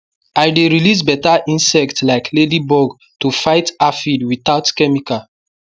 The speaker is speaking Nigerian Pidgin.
i dey release better insect like ladybug to fight aphid without chemical